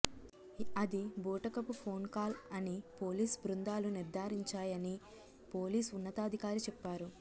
అది బూటకపు ఫోన్కాల్ అని పోలీస్ బృందాలు నిర్థారించాయని పోలీస్ ఉన్నతాధికారి చెప్పారు